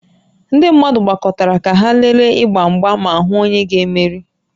Ndị mmadụ gbakọtara ka ha lelee ịgba mgba ma hụ onye ga-emeri